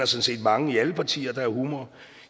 set mange i alle partierne der har humor